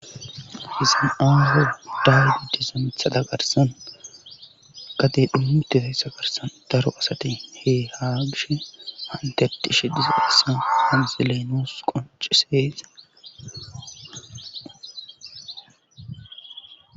Hisin ooho dawu giddizamthada garsan gade dhummuti tayssa garsan daro asati he ha gishe antetishe diza hissan onzileynos qonciseese